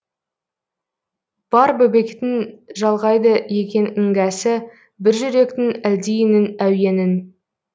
бар бөбектің жалғайды екен іңгәсі бір жүректің әлдиінің әуенін